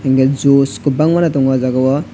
apple juice kwbang mano tongo ah jagao.